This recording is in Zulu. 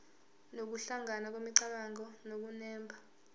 nokuhlangana kwemicabango nokunemba